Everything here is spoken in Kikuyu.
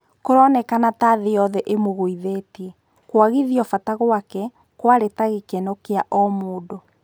Kũronekana ta-thĩ yothe ĩmũgũithĩtie," kũagithio bata gwake, kwarĩ ta-gĩtheko gĩa o-mũndũ.